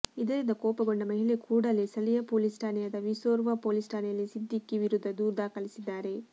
ಇದರಿಂದ ಕೋಪಗೊಂಡ ಮಹಿಳೆ ಕೂಡಲೇ ಸ್ಥಳೀಯ ಪೊಲೀಸ್ ಠಾಣೆಯಾದ ವಿರ್ಸೋವಾ ಪೊಲೀಸ್ ಠಾಣೆಯಲ್ಲಿ ಸಿದ್ಧಿಕಿ ವಿರುದ್ಧ ದೂರು ದಾಖಲಿಸಿದ್ದಾರೆ